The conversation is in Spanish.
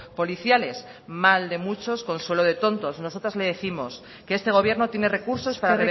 policiales mal de muchos consuelo de tontos nosotras le décimos que este gobierno tiene recursos para